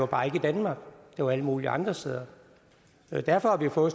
var i danmark det var alle mulige andre steder derfor har vi fået